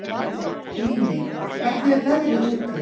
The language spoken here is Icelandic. Líney, hvernig er veðrið úti?